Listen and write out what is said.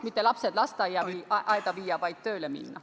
Mitte lapsed lasteaeda panna, vaid kodus on kasulikum olla kui tööle minna.